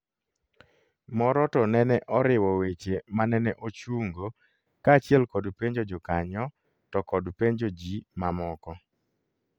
Moro to nene oriwo weche manene ochungo kachiel kod penjo jokanyo to kod penjo ji mamoko